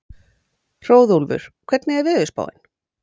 Hróðólfur, hvernig er veðurspáin?